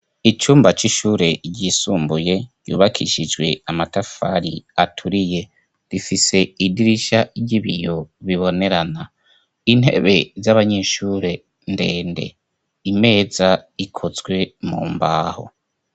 Icumba c'ishure ryisumbuye yubakishijwe amatafari aturiye rifise idirisha ry'ibiyo bibonerana intebe z'abanyeshure ndende imeza ikozwe mu mbaho.